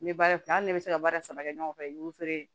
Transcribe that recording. N bɛ baara kɛ hali ni ne bɛ se ka baara saba kɛ ɲɔgɔn fɛ i b'o feere